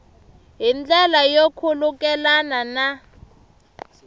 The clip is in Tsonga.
hi ndlela yo khulukelana na